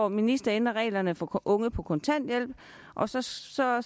minister ændrer reglerne for unge på kontanthjælp og så står